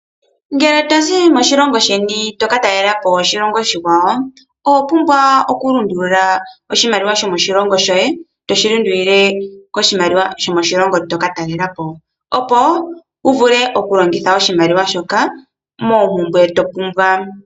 Ngele tozi moshilongo sheni toka talelapo oshilongo oshikwawo . Owa pumbwa oku lundulula oshimaliwa shomoshilongo shoye. Toshi lundulile koshimaliwa shomoshilongo shoka toka talelapo. Opo wuvule oku longitha oshimaliwa shoka moompumbwe to pumbwa.